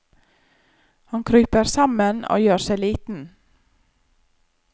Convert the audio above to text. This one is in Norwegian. Han kryper sammen og gjør seg liten.